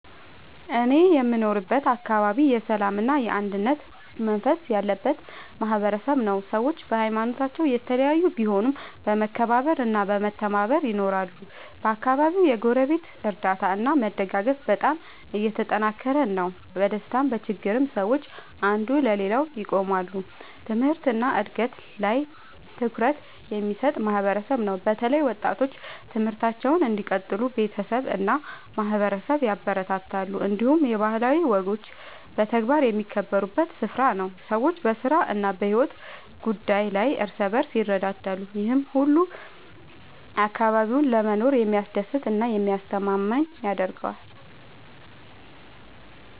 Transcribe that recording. እኔ የምኖርበት አካባቢ የሰላምና የአንድነት መንፈስ ያለበት ማህበረሰብ ነው። ሰዎች በሀይማኖታቸው የተለያዩ ቢሆኑም በመከባበር እና በመተባበር ይኖራሉ። በአካባቢው የጎረቤት እርዳታ እና መደጋገፍ በጣም የተጠናከረ ነው። በደስታም በችግርም ሰዎች አንዱ ለሌላው ይቆማሉ። ትምህርት እና እድገት ላይም ትኩረት የሚሰጥ ማህበረሰብ ነው። በተለይ ወጣቶች ትምህርታቸውን እንዲቀጥሉ ቤተሰብ እና ማህበረሰብ ያበረታታሉ። እንዲሁም የባህላዊ ወጎች በተግባር የሚከበሩበት ስፍራ ነው። ሰዎች በስራ እና በሕይወት ጉዳይ ላይ እርስ በርስ ይረዳዳሉ። ይህ ሁሉ አካባቢውን ለመኖር የሚያስደስት እና የሚያስተማማኝ ያደርገዋል።